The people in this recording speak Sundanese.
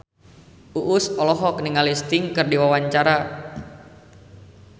Uus olohok ningali Sting keur diwawancara